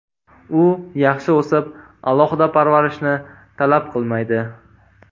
U yaxshi o‘sib, alohida parvarishni talab qilmaydi.